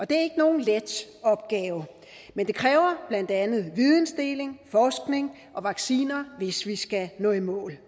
det er ikke nogen let opgave det kræver blandt andet vidensdeling forskning og vacciner hvis vi skal nå i mål